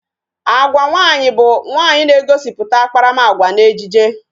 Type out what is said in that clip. Agwa nwaanyị bụ nwaanyị na-egosiputa akparamagwa n'ejije